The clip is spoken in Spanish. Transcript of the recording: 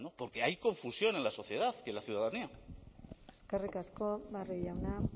porque hay confusión en la sociedad y en la ciudadanía eskerrik asko barrio jauna